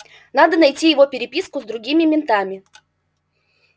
надо найти его переписку с другими ментами